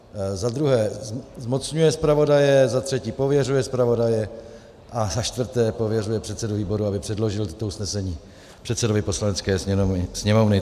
Za druhé zmocňuje zpravodaje, za třetí pověřuje zpravodaje a za čtvrté pověřuje předsedu výboru, aby předložil toto usnesení předsedovi Poslanecké sněmovny.